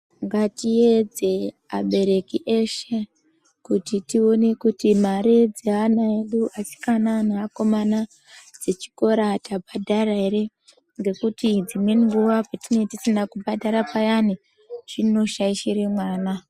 Ngatipedze abereki eshe, kuti tione kuti mare dzeana edu asikana neakomana dzechikora tabhadhara ere, ngekuti dzimweni nguwa petinenge tisina kubhadhara payani, zvinoshaishire mwana.